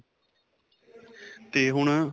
'ਤੇ ਹੁਣ.